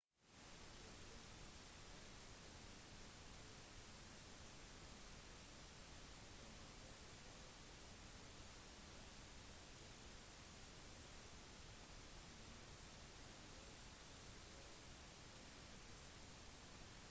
de fleste dødsfallene finner sted på grunn av utmattelse under forsøk i å svømme tilbake mot strømmen noe som kan være svært problematisk